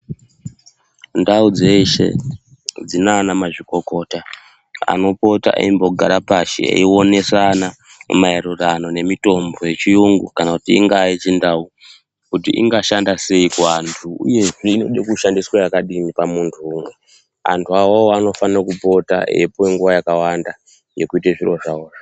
Ndau dzeshe dzinaana mazvikokota anopota eimbogara pashi eionesana maererano nemitombo yechiyungu, kana kuti ingaa yechindau. Kuti ingashanda sei kuantu uyezve inode kushandiswe yakadini pamuntu umwe . Antu awawo anofane kupota eipuwe nguva yakawanda yekuite zviro zvavozvo.